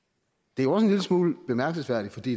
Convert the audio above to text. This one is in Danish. det er også en lille smule bemærkelsesværdigt fordi